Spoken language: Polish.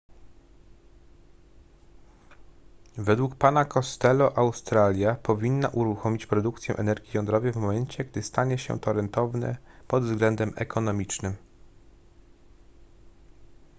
według pana costello australia powinna uruchomić produkcję energii jądrowej w momencie gdy stanie się to rentowne pod względem ekonomicznym